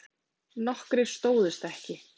Nokkrir stóðust ekki